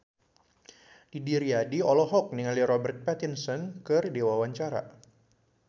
Didi Riyadi olohok ningali Robert Pattinson keur diwawancara